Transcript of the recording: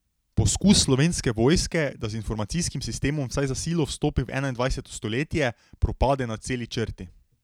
Poskus Slovenske vojske, da z informacijskim sistemom vsaj za silo vstopi v enaindvajseto stoletje, propade na celi črti.